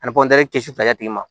Ani kisɛ fila tigi ma